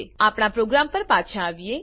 આપણા પ્રોગ્રામ પર પાછા આવીએ